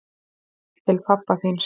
Til pabba þíns.